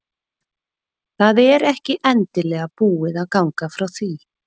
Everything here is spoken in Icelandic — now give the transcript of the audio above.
Það er ekki endanlega búið að ganga frá því.